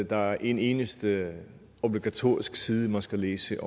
der er en eneste obligatorisk side man skal læse